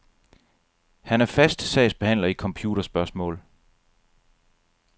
Han er fast sagsbehandler i computerspørgsmål.